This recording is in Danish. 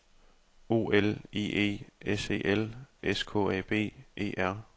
O L I E S E L S K A B E R